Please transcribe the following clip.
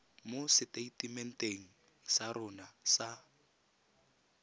mo seteitementeng sa rona sa